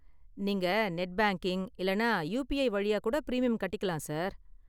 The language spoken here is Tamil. நீங்க நெட் பேங்கிங் இல்லைன்னா யூபிஐ வழியாக கூட பிரீமியம் கட்டிக்கலாம், சார்.